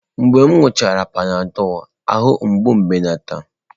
Mgbe m ṅụọchara Panadọlụ, ahụ mgbu m ebelata.